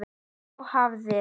Þá hafði